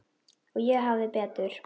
Og ég hafði betur.